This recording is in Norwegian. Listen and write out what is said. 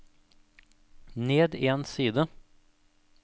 ned en side